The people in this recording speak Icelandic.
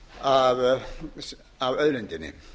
sé afgjald af auðlindinni